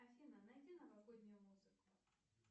афина найди новогоднюю музыку